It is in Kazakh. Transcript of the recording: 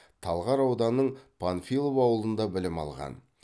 талғар ауданының панфилов ауылында білім алған